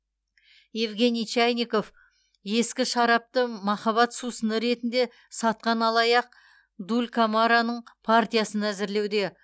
евгений чайников ескі шарапты махаббат сусыны ретінде сатқан алаяқ дулькамараның партиясын әзірлеуде